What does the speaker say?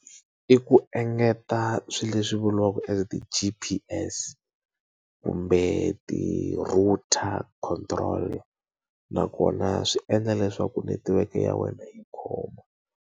I ku engeta swilo leswi vuriwaka as t-G_P_S kumbe ti-router control. Nakona swi endla leswaku netiweke ya wena yi khoma.